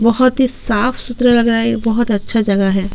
बहुत ही साफ सुथरा लग रहा है ये बहुत अच्छा जगह है।